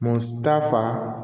Mun ta fa